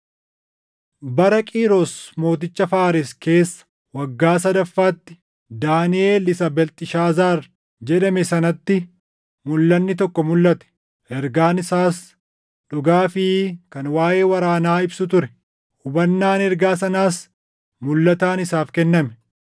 Bara Qiiros mooticha Faares keessa waggaa sadaffaatti Daaniʼel isa Beelxishaazaar jedhame sanatti mulʼanni tokko mulʼate. Ergaan isaas dhugaa fi kan waaʼee waraanaa ibsu ture. Hubannaan ergaa sanaas mulʼataan isaaf kenname.